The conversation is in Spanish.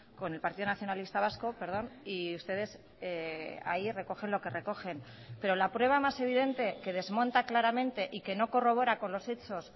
con el partido nacionalista vasco y ustedes ahí recogen lo que recogen pero la prueba más evidente que desmonta claramente y que no corrobora con los hechos